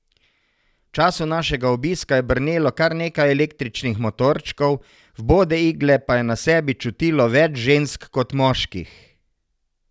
V času našega obiska je brnelo kar nekaj električnih motorčkov, vbode igle pa je na sebi čutilo več žensk kot moških.